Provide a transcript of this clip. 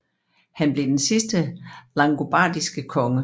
Han blev den sidste langobardiske konge